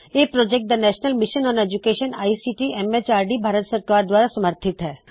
ਇਹ project the national mission on education ICT MHRD Bharat ਸਰਕਾਰ ਦਵਾਰਾ ਸਮਰਥਿਤ ਹੈ